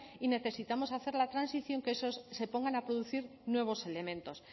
y necesitamos hacer la transición que se pongan a producir nuevos elementos